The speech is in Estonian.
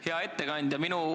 Hea ettekandja!